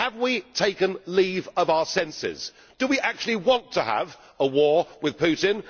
Have we taken leave of our senses? Do we actually want to have a war with Putin?